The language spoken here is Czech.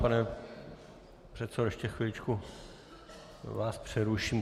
Pane předsedo, ještě chviličku vás přeruším.